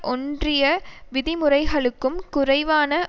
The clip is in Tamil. ஒன்றிய விதிமுறைகளுக்கும் குறைவான